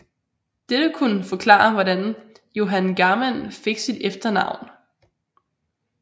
Dette kunne forklare hvordan Johan Garmann fik sit efternavn